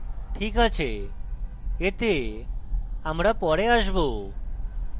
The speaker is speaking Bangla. ok আছে এতে আমরা পরে আসবো